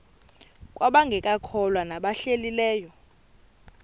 kwabangekakholwa nabahlehli leyo